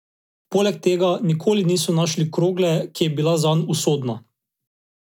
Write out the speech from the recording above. Poleg tega nikoli niso našli krogle, ki je bila zanj usodna.